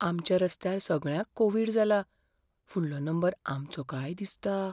आमच्या रस्त्यार सगळ्यांक कोव्हिड जाला, फुडलो नंबर आमचो काय दिसता.